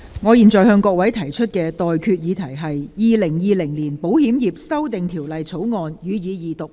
我現在向各位提出的待決議題是：《2020年保險業條例草案》，予以二讀。